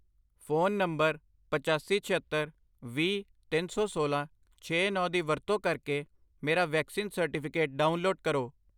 phone number ਪਚਾਸੀ, ਛਿਅੱਤਰ, ਵੀਹ, ਤਿੰਨ ਸੌ ਸੋਲਾਂ, ਛੇ, ਨੌਂ ਦੀ ਵਰਤੋਂ ਕਰਕੇ ਮੇਰਾ ਵੈਕਸੀਨ ਸਰਟੀਫਿਕੇਟ ਡਾਊਨਲੋਡ ਕਰੋ